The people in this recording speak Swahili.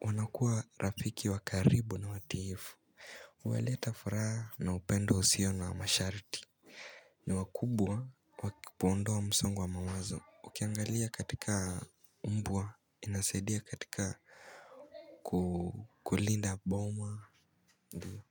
wanakuwa rafiki wa karibu na watiifu. Huleta furaha na upendo usio na masharti. Ni wakubwa wa kuondoa msongo wa mawazo ukiangalia katika mbwa inasaidia katika kulinda boma ndiyo.